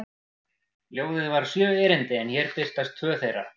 Ljóðið var sjö erindi en hér birtast tvö þeirra: